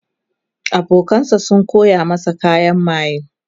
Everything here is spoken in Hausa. abokanan sa Suka koya masa kayan maye